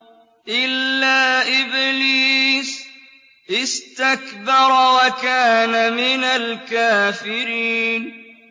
إِلَّا إِبْلِيسَ اسْتَكْبَرَ وَكَانَ مِنَ الْكَافِرِينَ